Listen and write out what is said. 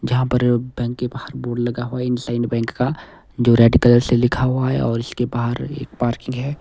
जहां पर बैंक के बाहर बोर्ड लगा हुआ है इंडसइंड बैंक का जो रेड कलर से लिखा हुआ है और इसके बाहर एक पार्किंग है।